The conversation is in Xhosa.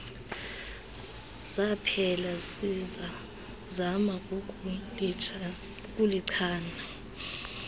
zaphela sisazama ukulichana